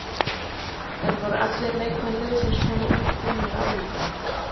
En voru allir leikmenn liðsins svona útbúnir á æfingunni?